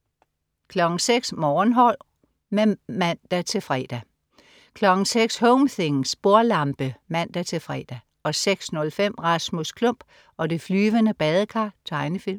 06.00 Morgenhår (man-fre) 06.00 Home things. Bordlampe (man-fre) 06.05 Rasmus Klump og det flyvende badekar. Tegnefilm